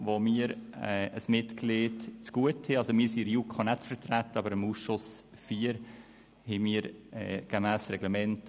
Der Präsident hat mich sozusagen auf dem falschen Fuss erwischt.